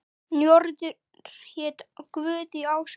Njörður hét guð í ásatrú.